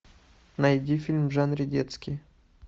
найди фильм в жанре детский